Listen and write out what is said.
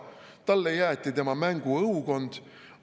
Talle jäeti tema mänguõukond.